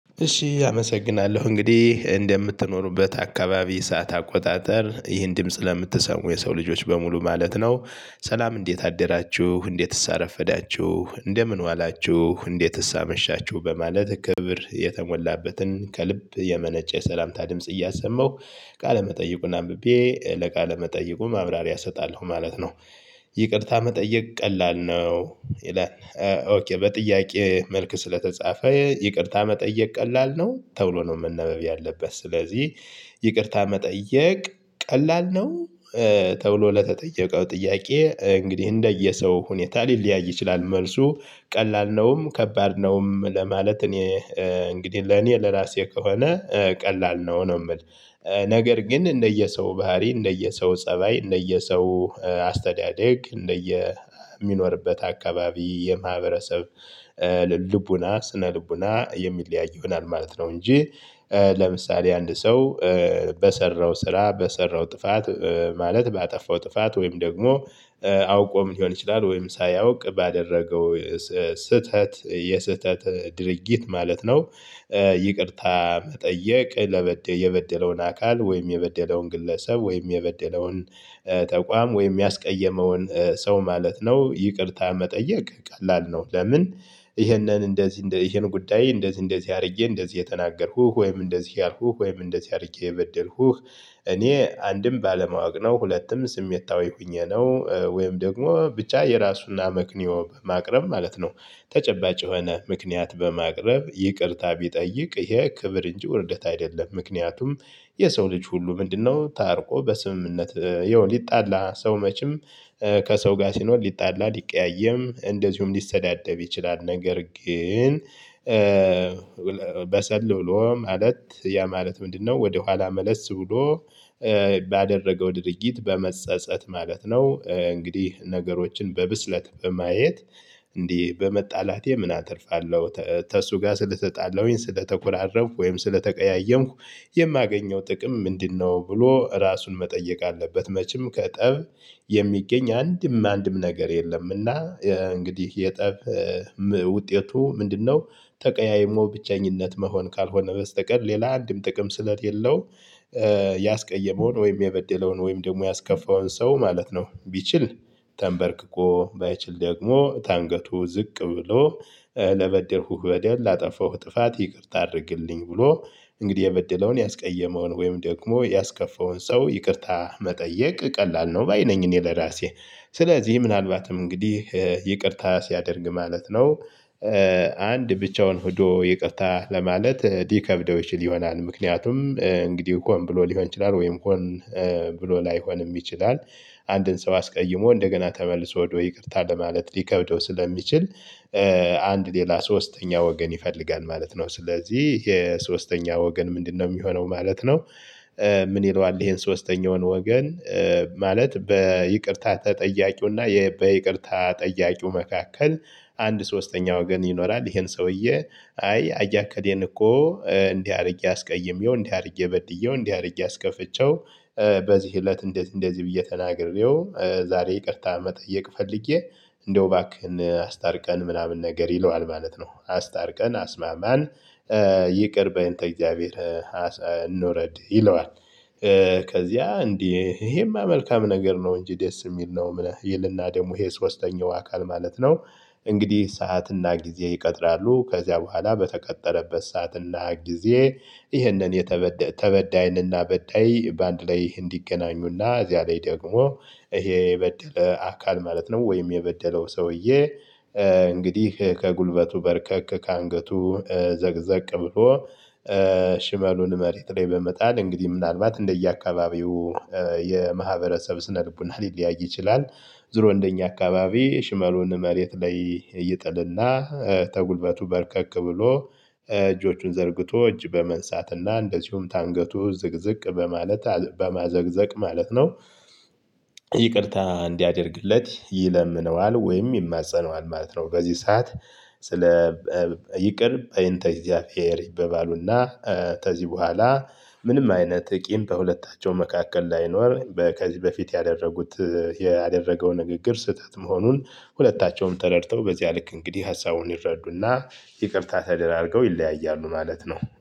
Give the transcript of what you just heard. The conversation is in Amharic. እሺ አመሰግናለሁ እንግዲህ እንደምትኖሩበት አካባቢ ሰዓት አቆጣጠር ይህን ድምጽ ለምትሰሙ የሰው ልጆች በሙሉ ማለት ነው። ሰላም እንዴት አደራችሁ እንዴትስ አረፈዳችሁ እንደምን ዋላችሁ እንዴትስ አመሻችሁ በማለት ክብር የተሞላበትን ከልብ የመነጨ ሰላምታ ድምጽ እያሰማሁ መጠይቁን አንብቤ ለቃለ መጠይቁ ማብራሪያ እሰጣለሁ ማለት ነው። ይቅርታ መጠየቅ ቀላል ነው ይላል በጥያቄ መልክ ስለተጻፈ ይቅርታ መጠየቅ ቀላል ነው ተብሎ ነው መነበብ ያለበት ስለዚህ ይቅርታ መጠየቅ ቀላል ነው። ተብሎ ለተጠየቀው ጥያቄ እንግዲህ እንደየሰው ሁኔታ ሊለያይ ይችላል። መልሱ ቀላል ነውም ከባድ ነውም ለማለት እኔ እንግዲህ ለኔ ለራሴ ከሆነ ቀላል ነው ነው የምል። ነገር ግን እንደየሰው ባህሪ እንደየሰው ፀባይ እንደየሰው አስተዳደግ እንደየሚኖርበት አካባቢ የማህበረሰብ ልቦና ስነ ልቦና የሚለያይ ይሆናል ማለት ነው እንጂ። ለምሳሌ አንድ ሰው በሰራው ስራ በሰራው ጥፋት ማለት ባጠፋው ጥፋት ወይም ደግሞ አውቆ ሊሆን ይችላል ወይም ሳያውቅ ባደረገው ስህተት የስህተት ድርጊት ማለት ነው። ይቅርታ መጠየቅ የበደለውን አካል ወይም የበደለውን ግለሰብ ወይም የበደለውን ተቋም ወይም ያስቀየመውን ሰው ማለት ነው። ይቅርታ መጠየቅ ቀላል ነው ለምን? ይሄንን እንደዚህ ይሄን ጉዳይ እንደዚህ እንደዚህ አድርጌ እንደዚህ የተናገርኩ ወይም እንደዚህ ያልኩህ ወይም እንደዚህ አድርጌ የበደልኩህ እኔ አንድም ባለማወቅ ነው ሁለቱም ስሜታዊ ሆኜ ነው ወይም ደግሞ ብቻ የራሱን አመክንዮ በማቅረብ ማለት ነው። ተጨባጭ የሆነ ምክንያት በማቅረብ ይቅርታ ቢጠይቅ ይሄ ክብር እንጂ ውርደት አይደለም። ምክንያቱም የሰው ልጅ ሁሉ ምንድነው? ታርቆ በስምምነት ይኸው ሊጣላ ሰው መቼም ከሰው ጋር ሲኖር ሊጣላ ሊቀያየም እንደዚሁም ሊሰዳደብ ይችላል። ነገር ግን በሰል ብሎ ማለት ያ ማለት ምንድነው? ወደኋላ መለስ ብሎ ባደረገው ድርጊት በመጸጸት ማለት ነው። እንግዲህ ነገሮችን በብስለት በማየት እንዲህ በመጣላቴ ምን አትርፋለሁ? ከእሱ ጋር ስለተጣለሁኝ ስለተኮራረፍኩ ወይም ስለተቀያየምኩ የማገኘው ጥቅም ምንድነው ብሎ ራሱን መጠየቅ አለበት። መቼም ከጠብ የሚገኝ አንድም አንድም ነገር የለምና። እንግዲህ የጠብ ውጤቱ ምንድነው? ተቀያይሞ ብቸኝነት መሆን ካልሆነ በስተቀር ሌላ አንድም ጥቅም ስለሌለው። ያስቀየመውን ወይም የበደለውን ወይም ደግሞ ያስከፋውን ሰው ማለት ነው። ቢችል ተንበርክኮ ባይችል ደግሞ ታንገቱ ዝቅ ብሎ ለበደልኩህ በደል ላጠፋሁ ጥፋት ይቅርታ አድርግልኝ። ብሎ እንግዲህ የበደለውን ያስቀየመውን ወይም ደግሞ ያስከፋውን ሰው ይቅርታ መጠየቅ ቀላል ነው ባይ ነኝ። እኔ ለራሴ ስለዚህ ምናልባትም እንግዲህ ይቅርታ ሲያደርግ ማለት ነው። አንድ ብቻውን ሄዶ ይቅርታ ለማለት ሊከብደው ይችል ይሆናል ምክንያቱም እንግዲህ ሆን ብሎ ሊሆን ይችላል ወይም ሆን ብሎ ላይሆንም ይችላል። አንድን ሰው አስቀይሞ እንደገና ተመልሶ ሄዶ ይቅርታ ለማለት ሊከብደው ስለሚችል። አንድ ሌላ ሶስተኛ ወገን ይፈልጋል ማለት ነው። ስለዚህ የሶስተኛ ወገን ምንድነው የሚሆነው ማለት ነው። ምን ይለዋል ይሄን ሶስተኛውን ወገን ማለት በይቅርታ ተጠያቂው እና በይቅርታ ጠያቂው መካከል አንድ ሶስተኛ ወገን ይኖራል። ይሄን ሰውዬ አይ አያ እከሌን እኮ እንዲህ አድርጌ አስቀይሜው እንዲህ አድርጌ በድዬው እንዲህ አድርጌ አስከፍቼው በዚህ እለት እንደዚህ እንደዚህ ብዬ ተናግሬው ዛሬ ይቅርታ መጠየቅ ፈልጌ እንደው ባክህን አስታርቀን ምናምን ነገር ይለዋል ማለት ነው። አስታርቀን አስማማን ይቅር በእንተ እግዚአብሔር እንውረድ ይለዋል። ከዚያ እንዴ ይሄማ መልካም ነገር ነው እንጂ ደስ የሚል ነው ይልና ደግሞ ይሄ ሶስተኛው አካል ማለት ነው። እንግዲህ ሰዓትና ጊዜ ይቀጥራሉ ከዚያ በኋላ በተቀጠረበት ሰዓትና ጊዜ ይህንን የተበዳይንና በዳይ በአንድ ላይ እንዲገናኙና እዚያ ላይ ደግሞ ይሄ የበደለ አካል ማለት ነው ወይም የበደለው ሰውዬ። እንግዲህ ከጉልበቱ በረከክ ከአንገቱ ዘቅዘቅ ብሎ ሽመሉን መሬት ላይ በመጣል እንግዲህ ምናልባት እንደየአካባቢው የማህበረሰብ ስነልቦና ሊለያይ ይችላል። ዙሮ እንደኛ አካባቢ ሽመሉን መሬት ላይ ይጥልና ተጉልበቱ በርከክ ብሎ እጆቹን ዘርግቶ እጅ በመንሳትና እንደዚሁም ታንገቱ ዝቅዝቅ በማለት በማዘቅዘቅ ማለት ነው። ይቅርታ እንዲያደርግለት ይለምነዋል ወይም ይማፀነዋል ማለት ነው። በዚህ ሰዓት ስለ ይቅር በይንተ እግዚአብሔር ይበባሉና። ከዚህ በኋላ ምንም አይነት ቂም በሁለታቸው መካከል ላይኖር ከዚህ በፊት ያደረጉት ያደረገው ንግግር ስህተት መሆኑን ሁለታቸውም ተረድተው በዚያ ልክ እንግዲህ ሀሳቡን ይረዱና ይቅርታ ተደራርገው ይለያያሉ። ማለት ነው